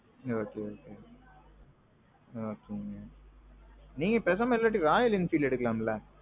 okay okay. நீங்க பேசாம இல்லாட்டி Royal Enfield எடுக்கலாம்ல?